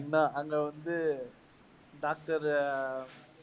அங்க வந்து doctor உ